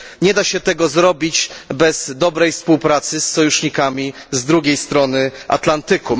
Nie da się tego zrobić bez dobrej współpracy z sojusznikami z drugiej strony Atlantyku.